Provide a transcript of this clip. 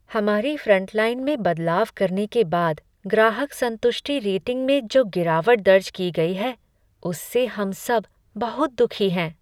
हमारी फ्रंटलाइन में बदलाव करने के बाद ग्राहक संतुष्टि रेटिंग में जो गिरावट दर्ज की गई है उससे हम सब बहुत दुखी हैं।